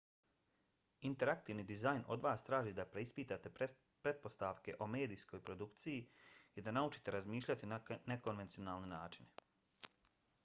interaktivni dizajn od vas traži da preispitate pretpostavke o medijskoj produkciji i da naučite razmišljati na nekonvencionalne načine